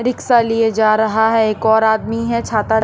rickshaw लिए जा रहा है एक और आदमी है छाता--